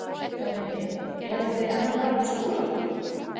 LANDSHÖFÐINGI: Eruð þið enn að tala um Skúla?